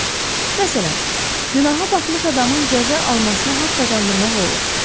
Məsələn, günaha batmış adamın cəza almasına haqq qazandırmaq olur.